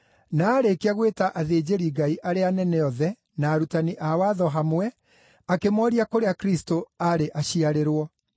Na aarĩkia gwĩta athĩnjĩri-Ngai arĩa anene othe, na arutani a watho hamwe, akĩmooria kũrĩa Kristũ aarĩ aciarĩrwo.